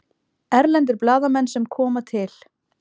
Erlendir blaðamenn sem koma til